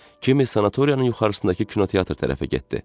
Kimi sanatoriyanın yuxarısındakı kinoteatr tərəfə getdi.